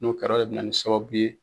N'o kɛra o bɛna ni sababu ye.